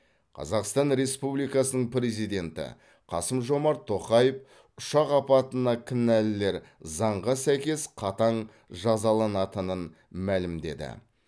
қазақстан республикасының президенті қасым жомарт тоқаев ұшақ апатына кінәлілер заңға сәйкес қатаң жазаланатынын мәлімдеді